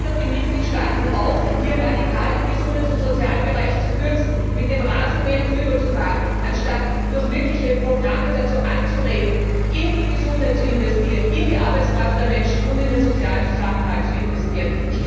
Sie fordern die Mitgliedstaaten auf, hier radikal im Gesundheits und Sozialbereich zu kürzen, mit dem Rasenmäher drüber zu fahren, anstatt durch wirkliche Programme dazu anzuregen, in die Gesundheit, in die Arbeitskraft der Menschen und in den sozialen Zusammenhalt zu investieren.